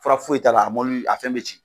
Fura foyi ta la a a fɛn bɛ ci.